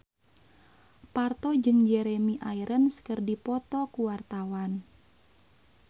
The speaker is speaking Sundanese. Parto jeung Jeremy Irons keur dipoto ku wartawan